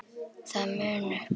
það mun upp